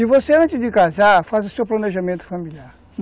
E você, antes de casar, faça o seu planejamento familiar.